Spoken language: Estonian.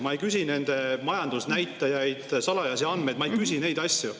Ma ei küsi nende majandusnäitajaid, salajasi andmeid, ma ei küsi neid asju.